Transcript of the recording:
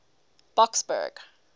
boksburg